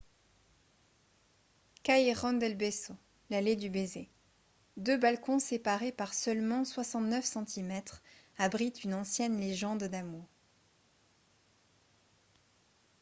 callejon del beso l’allée du baiser. deux balcons séparés par seulement 69 centimètres abritent une ancienne légende d’amour